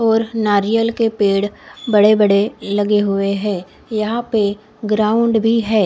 और नारियल के पेड़ बड़े बड़े लगे हुए है यहा पे ग्राउंड भी है।